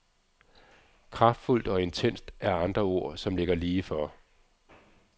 Kraftfuldt og intenst er andre ord, som ligger lige for.